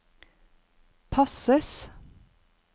passes